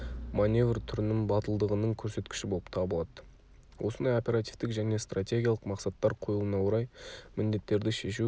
маневр түрінің батылдығының көрсеткіші болып табылады осындай оперативтік және стратегиялық мақсаттар қойылуына орай міндеттерді шешу